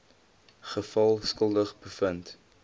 geval skuldig bevind